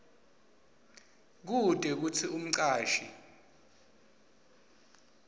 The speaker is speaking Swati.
kute kutsi umcashi